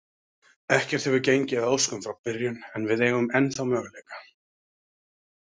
Ekkert hefur gengið að óskum frá byrjun, en við eigum ennþá möguleika.